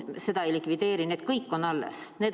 Neid ei likvideerita, need kõik on alles.